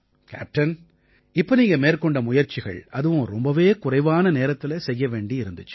captain இப்ப நீங்க மேற்கொண்ட முயற்சிகள் அதுவும் ரொம்பவே குறைவான நேரத்தில செய்ய வேண்டி இருந்திச்சு